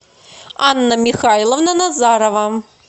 анна михайловна назарова